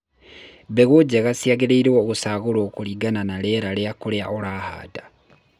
Mbegũ njega ciagĩrĩirwo gũcagũrwo kũringana na na rĩera rĩa kũrĩa ũrahanda.